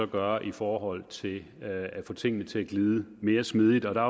gøre i forhold til at få tingene til at glide mere smidigt der